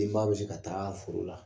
Den bɛ se ka taa foro la